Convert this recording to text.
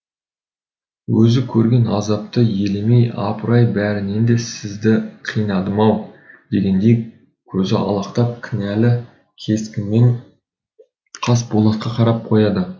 өзі көрген азапты елемей апырай бәрінен де сізді қинадым ау дегендей көзі алақтап кінәлі кескінмен қасболатқа қарап қояды